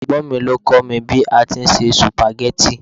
Ẹ̀gbọ́n mi ló kọ́ mi bí a ti ń se sùpàgẹ́tì